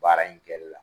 Baara in kɛli la